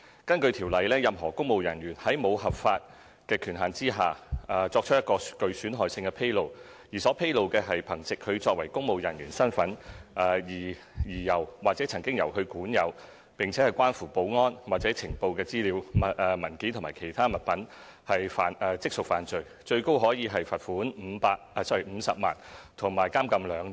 根據《條例》，任何公務人員如在沒有合法權限的情況下，作出一項具損害性的披露，而所披露的是憑藉他作為公務人員的身份而由或曾經由他管有，並關乎保安或情報的資料、文件或其他物品，即屬犯罪，最高可處罰款50萬元及監禁2年。